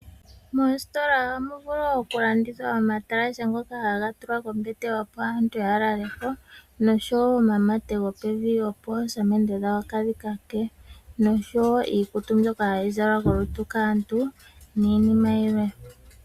Mositola ohamu vulu okulandithwa omatalashe ngoka haga tulwa kombete opo aantu ya laleko noshowo omamate gopevi, opo oosamende dhawo kadhi kake. Ohamu kala wo iikutu mbyoka hayi zalwa kaantu niinima yilwe.